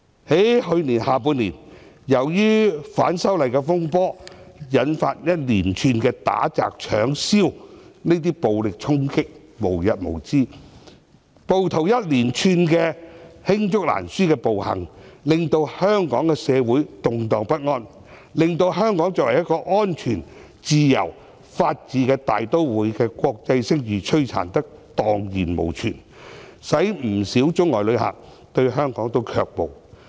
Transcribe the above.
在去年的下半年，由於反修例的風波，引發一連串打、擲、搶、燒行為，暴力衝擊無日無之，暴徒一連串罄竹難書的暴行，令香港社會動盪不安，把香港作為安全自由、法治大都會的國際聲譽摧殘得蕩然無存，使不少中外旅客對香港卻步。